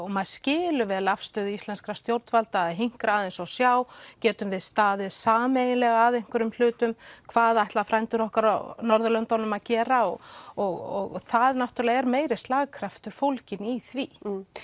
maður skilur vel afstöðu íslenskra stjórnvalda að hinkra aðeins og sjá getum við staðið sameiginlega að einhverjum hlutum hvað ætla frændur okkar á Norðurlöndunum að gera og og það er meiri slagkraftur fólginn í því